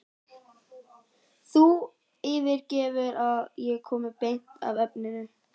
Þú fyrirgefur að ég komi beint að efninu.